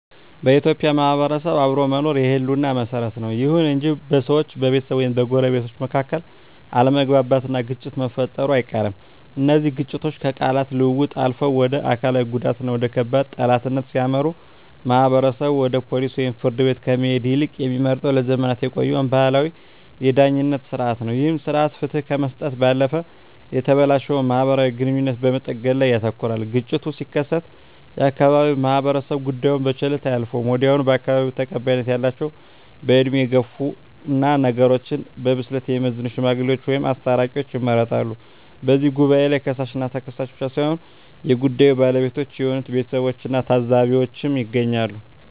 በኢትዮጵያ ማህበረሰብ ውስጥ አብሮ መኖር የህልውና መሰረት ነው። ይሁን እንጂ በሰዎች፣ በቤተሰብ ወይም በጎረቤቶች መካከል አለመግባባትና ግጭት መፈጠሩ አይቀርም። እነዚህ ግጭቶች ከቃላት ልውውጥ አልፈው ወደ አካላዊ ጉዳትና ወደ ከባድ ጠላትነት ሲያመሩ፣ ማህበረሰቡ ወደ ፖሊስ ወይም ፍርድ ቤት ከመሄድ ይልቅ የሚመርጠው ለዘመናት የቆየውን ባህላዊ የዳኝነት ሥርዓት ነው። ይህ ሥርዓት ፍትህ ከመስጠት ባለፈ የተበላሸውን ማህበራዊ ግንኙነት በመጠገን ላይ ያተኩራል። ግጭቱ ሲከሰት የአካባቢው ማህበረሰብ ጉዳዩን በቸልታ አያልፈውም። ወዲያውኑ በአካባቢው ተቀባይነት ያላቸው፣ በዕድሜ የገፉና ነገሮችን በብስለት የሚመዝኑ "ሽማግሌዎች" ወይም "አስታራቂዎች" ይመረጣሉ። በዚህ ጉባኤ ላይ ከሳሽና ተከሳሽ ብቻ ሳይሆኑ የጉዳዩ ባለቤቶች የሆኑት ቤተሰቦችና ታዘቢዎችም ይገኛሉ።